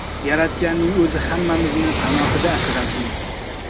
Yaratganning o‘zi hammamizni panohida asrasin!